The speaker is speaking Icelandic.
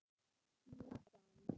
Nú fann